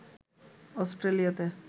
অস্ট্রেলিয়াতে